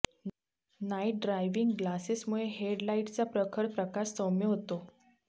Knight driving ग्लासेसमुळे हेडलाइटचा प्रखर प्रकाश सौम्य होतो